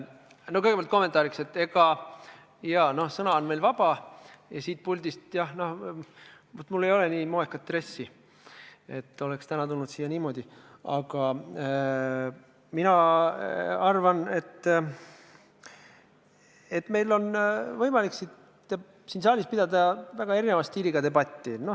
No kõigepealt kommentaariks, et jaa, sõna on meil vaba ja siit puldist – no mul ei ole nii moekaid dresse, et oleks täna nendega siia tulnud –, mina arvan, on meil võimalik pidada väga erineva stiiliga debatti.